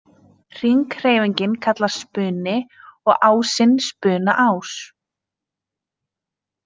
Hringhreyfingin kallast spuni og ásinn spunaás.